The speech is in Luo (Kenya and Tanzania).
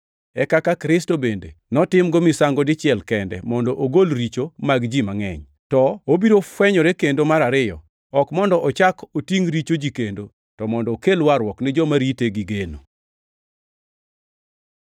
e kaka Kristo bende notimgo misango dichiel kende mondo ogol richo mag ji mangʼeny. To obiro fwenyore kendo mar ariyo, ok mondo ochak otingʼ richo ji kendo, to mondo okel warruok ni joma rite gi geno.